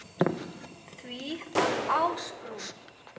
því að Ásbrú